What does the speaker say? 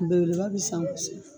Belebeleba bi san kosɛbɛ